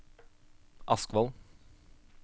Askvoll